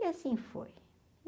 E assim foi.